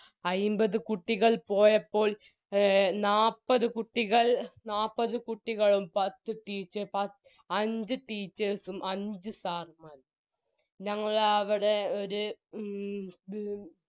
അയിമ്പത് കുട്ടികൾ പോയപ്പോൾ എ നാപ്പത് കുട്ടികൾ നാപ്പത് കുട്ടികളും പത്ത് ടീച്ചേ പത് അഞ്ച് teachers ഉം അഞ്ച് sir മ്മാരും ഞങ്ങളവിടെ ഒര് മ്